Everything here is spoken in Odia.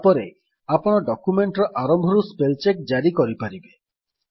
ତାପରେ ଆପଣ ଡକ୍ୟୁମେଣ୍ଟ୍ ର ଆରମ୍ଭରୁ ସ୍ପେଲ୍ ଚେକ୍ ଜାରି କରିପାରିବେ